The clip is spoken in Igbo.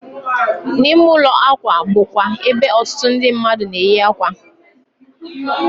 N'ime ụlọ akwa bụ kwa ebe otutu ndị mmadu na-eyi ákwà